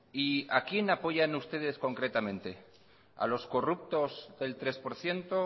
y a quién apoyan ustedes concretamente a los corruptos del tres por ciento